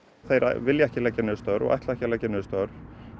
þeir vilja ekki leggja niður störf og ætla ekki að leggja niður störf